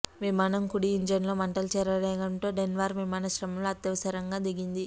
విమానం కుడి ఇంజిన్లో మంటలు చెలరేగడంతో డెన్వర్ విమానాశ్రయంలో అత్యవసరంగా దిగింది